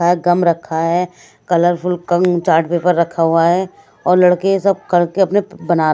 शायद गम रखा है कलरफुल कम चार्ट पेपर रखा हुआ है और लड़के सब करके अपने बना--